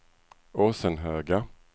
Åsenhöga